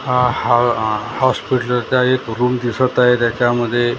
आ ह आह हॉस्पिटलचा एक रूम दिसत आहे त्याच्यामध्ये--